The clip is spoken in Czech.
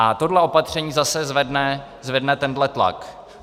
A tohle opatření zase zvedne tento tlak.